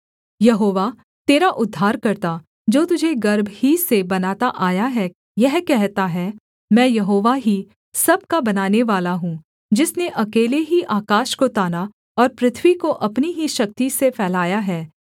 यहोवा तेरा उद्धारकर्ता जो तुझे गर्भ ही से बनाता आया है यह कहता है मैं यहोवा ही सब का बनानेवाला हूँ जिसने अकेले ही आकाश को ताना और पृथ्वी को अपनी ही शक्ति से फैलाया है